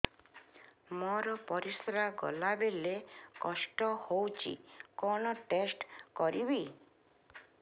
ମୋର ପରିସ୍ରା ଗଲାବେଳେ କଷ୍ଟ ହଉଚି କଣ ଟେଷ୍ଟ କରିବି